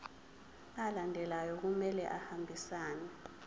alandelayo kumele ahambisane